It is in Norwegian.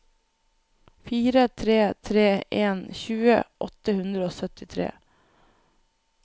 fire tre tre en tjue åtte hundre og syttitre